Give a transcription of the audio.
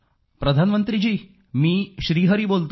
प्रधानमंत्रीजी मी श्री हरी बोलतो आहे